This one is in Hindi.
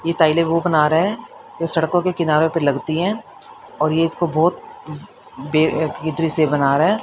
टाइल्स ओ बना रहे हैं। सड़कों के किनारे पर लगती है। और इसको बहोत दृश्य बना रहे हैं।